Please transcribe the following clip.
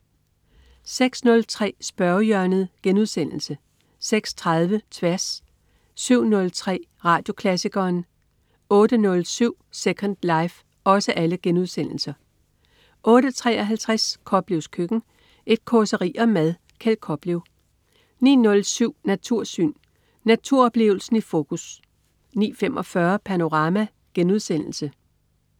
06.03 Spørgehjørnet* 06.30 Tværs* 07.03 Radioklassikeren* 08.07 Second life* 08.53 Koplevs køkken. Et causeri om mad. Kjeld Koplev 09.07 Natursyn. Naturoplevelsen i fokus 09.45 Panorama*